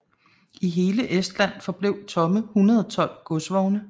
I hele Estland forblev tomme 112 godsvogne